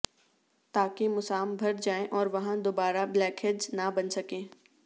تاکہ مسام بھر جائیں اور وہاں دوبارہ بلیک ہیڈز نہ بن سکیں